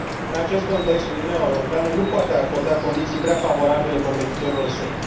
În acest context, Uniunea Europeană nu poate acorda condiții prea favorabile competitorilor săi.